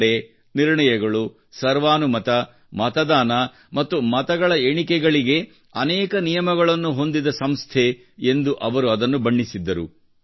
ನಡೆ ನಿರ್ಣಯಗಳು ಸರ್ವಾನುಮತ ಮತದಾನ ಮತ್ತು ಮತಗಳ ಎಣಿಕೆಗಳಿಗೆ ಅನೇಕ ನಿಯಮಗಳನ್ನು ಹೊಂದಿದ ದು ಸಂಸ್ಥೆ ಎಂದು ಅವರು ಅದನ್ನು ಬಣ್ಣಿಸಿದ್ದರು